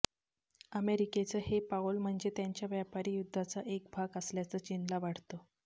अमेरिकेचं हे पाऊल म्हणजे त्यांच्या व्यापारी युद्धाचा एक भाग असल्याचं चीनला वाटतं